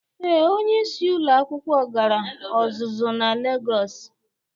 Ee, onyeisi ụlọ akwụkwọ gara ọzụzụ na Legọs